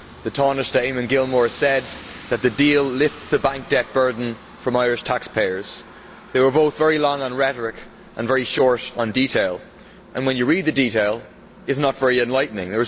The Tánaiste Eamon Gilmore said that the deal lifts the bank debt burden from Irish taxpayers. They were both very long on rhetoric and very short on detail, and when you read the detail it is not very enlightening.